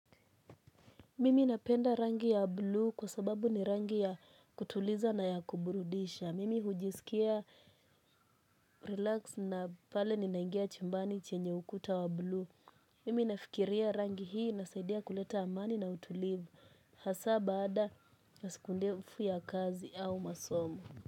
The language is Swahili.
Mimi napenda rangi ya bluu kwa sababu ni rangi ya kutuliza na ya kuburudisha. Mimi hujisikia relax na pale ninaingia chumbani chenye ukuta wa bluu. Mimi nafikiria rangi hii inasaidia kuleta amani na utulivu. Hasaa baada ya siku ndefu ya kazi au masomo.